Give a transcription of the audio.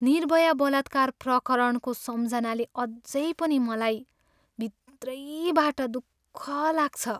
निर्भया बलात्कार प्रकरणको सम्झनाले अझै पनि मलाई भित्रबाटै दुःख लाग्छ।